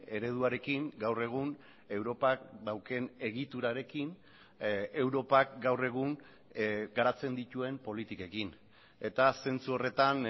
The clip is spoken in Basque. ereduarekin gaur egun europak daukan egiturarekin europak gaur egun garatzen dituen politikekin eta zentzu horretan